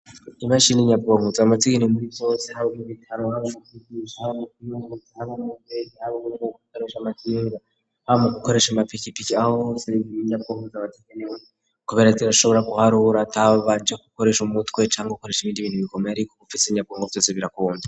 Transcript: Imashini inyabongoza amazigani muri vyose habo mu bitano bazazugisa imomutanokubeke abo ubutgo gutoresha amakinda abo mu gukoresha amapikipiki aho hose n'ibiniinyabwongoza amaziganiwe kobera zirashobora guhari uwuri ataba banje gukoresha umutwe canke gukoresha imindibindi mikomeye, ariko gufise inyabongo vyose birakunda.